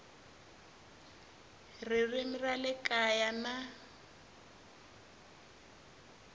ririmi ra le kaya na